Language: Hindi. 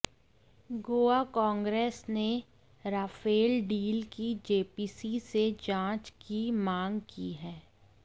गोवा कांग्रेस ने राफेल डील की जेपीसी से जांच की मांग की है